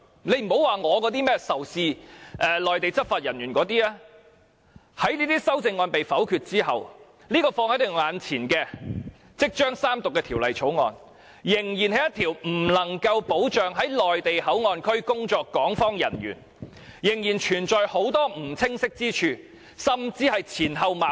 別說我仇視內地執法人員那些修正案，即使這些修正案被否決後，放在我們眼前、即將三讀的《條例草案》，仍不能保障在內地口岸區工作的港方人員、仍然存在很多不清晰之處、甚至是前後矛盾。